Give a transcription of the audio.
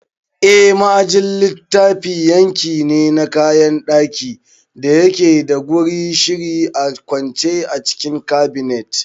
Eh, ma'ajin littafi yanki ne na kayan ɗaki da yake da gurin shiri a kwance a cikin Cabinet